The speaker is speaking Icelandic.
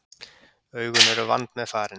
Augun eru vandmeðfarin.